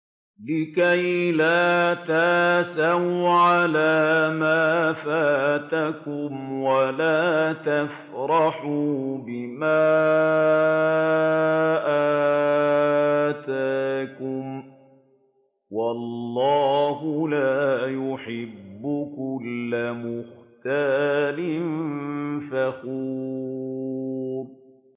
لِّكَيْلَا تَأْسَوْا عَلَىٰ مَا فَاتَكُمْ وَلَا تَفْرَحُوا بِمَا آتَاكُمْ ۗ وَاللَّهُ لَا يُحِبُّ كُلَّ مُخْتَالٍ فَخُورٍ